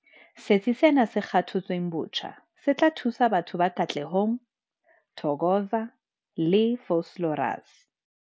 Setsi sena se kgakotsweng botjha se tla thusa batho ba Katlehong, Thokoza le Vosloorus.